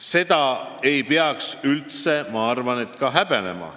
Seda ei peaks üldse häbenema.